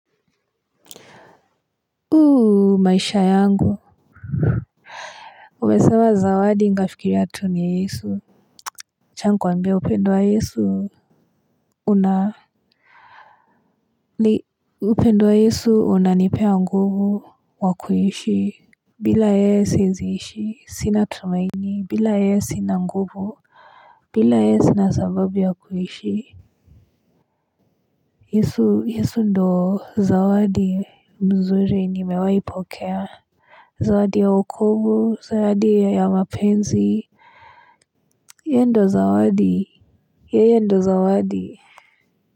Maisha yangu. Umesema zawadi nikafikiria tu ni yesu wacha nikuambia upendo wa yesu. Una upendo wa yesu unanipea nguvu wa kuishi. Bila yeyeb siweziishi. Sina tumaini. Bila yeye si na nguvu. Bila yeye sina sababu ya kuishi. Yesu yesu ndio zawadi mzuri nimewaipokea. Zawadi ya okovu zawadi ya mapenzi yeye ndio zawa yeye ndio zawadi.